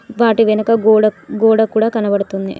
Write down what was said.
వాటి వెనక గోడ గోడ కూడా కనబడుతుంది.